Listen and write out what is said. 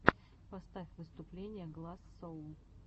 поставь выступления гласс соул